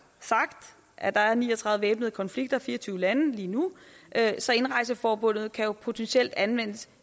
sagt at der er ni og tredive væbnede konflikter i fire og tyve lande lige nu så indrejseforbuddet kan jo potentielt anvendes